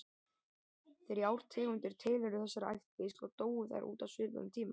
Þrjár tegundir tilheyrðu þessari ættkvísl og dóu þær út á svipuðum tíma.